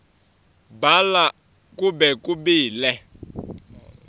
bhala kube kubili